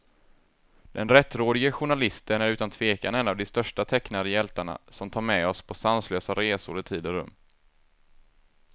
Den rättrådige journalisten är utan tvekan en av de största tecknade hjältarna, som tar med oss på sanslösa resor i tid och rum.